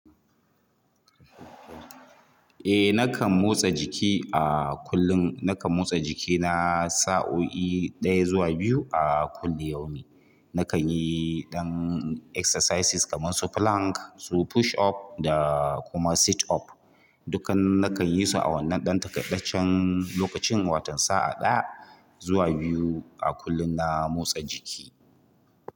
Eh nakan motsa jiki a kullum. Nakan motsa jikina sa'o'i ɗaya zuwa biyu a kulli yaum. Nakan yi ɗan exercises kamar su plank, su push up da kuma sit up. Dukkan nakan yi su a wannan ɗan takaitaccen lokacin watan sa'a ɗaya zuwa biyu a kullum na motsa jiki.